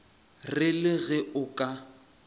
re le ge o ka